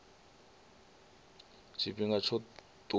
tshifhinga tsho tiwaho tsha u